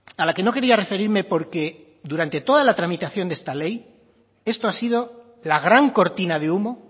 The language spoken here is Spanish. a la que no quería referirme porque durante toda la tramitación de esta ley esto ha sido la gran cortina de humo